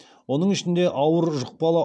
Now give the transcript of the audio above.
оның ішінде ауыр жұқпалы